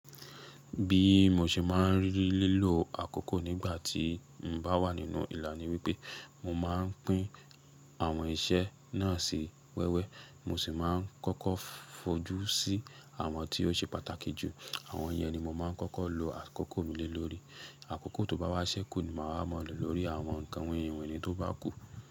Bí mo ṣe máa ń rí lílọ àkókò nígbà tí n bá wà nínú ìlà ní wípé, mo máa ń pín àwọn iṣẹ́ náà sí wẹ́wẹ́. Mo sì máa ń kọ́kọ́ fojú sí àwọn tí ó ṣe pàtàkì jù. Àwọn yẹn ni mo máa ń kọ́kọ́ lo àkókò mi lé lórí. Àkókò tó bá wá ṣẹ́ kù ni màá wáa ma lo lórí àwọn ǹkan winrinwinrin tó bá kù.